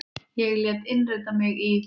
Ég lét innrita mig í